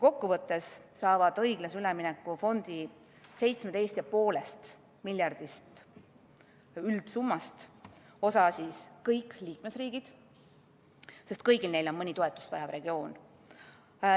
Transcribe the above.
Kokkuvõttes saavad õiglase ülemineku fondi 17,5 miljardi euro suurusest üldsummast osa kõik liikmesriigid, sest kõigil neil on mõni toetust vajav regioon.